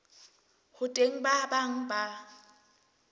ho teng ba bang ba